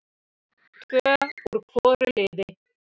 Tvö úr hvoru liði.